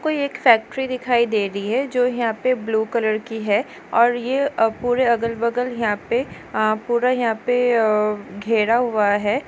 कोई एक फैक्टरी दिखाई दे रही है जो यहाँ पे ब्लू कलर की है और ये पुरे अगल बगल यहाँ पे पुरा यहाँ पे घेरा हुआ है।